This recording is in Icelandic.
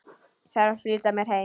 Þarf að flýta mér heim.